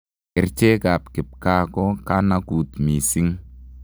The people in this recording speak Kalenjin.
Kerchek ab kipkaa ko kanakut missing.